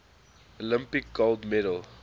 olympic gold medal